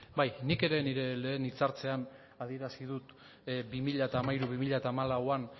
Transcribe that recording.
bai nik ere nire lehen hitz hartzean adierazi dut bi mila hamairu bi mila hamalauan